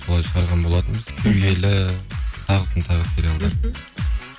солай шығарған болатынбыз кю елі тағысын тағы сериалдар